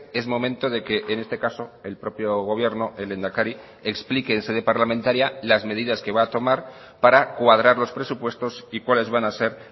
es momento de que en este caso el propio gobierno el lehendakari explique en sede parlamentaria las medidas que va a tomar para cuadrar los presupuestos y cuáles van a ser